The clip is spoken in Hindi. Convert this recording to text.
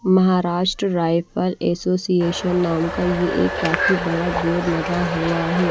महाराष्ट्र राइफल एसोसिएशन नाम का ये एक काफी बड़ा बोर्ड लगा हुआ है।